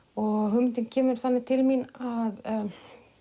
hugmyndin kemur þannig til mín að